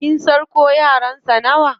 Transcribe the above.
Kin san ko yaran sa nawa?